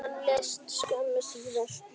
Hann lést skömmu síðar.